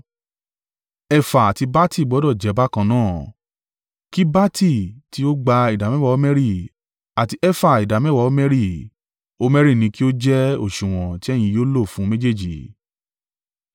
Efa àti bati gbọdọ̀ jẹ́ bákan náà, kí bati tí ó gba ìdámẹ́wàá homeri, àti efa ìdámẹ́wàá homeri: Homeri ni kí ó jẹ́ òsùwọ̀n tí ẹ̀yin yóò lò fún méjèèjì.